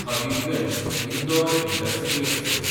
Habibganj-Indore intercity express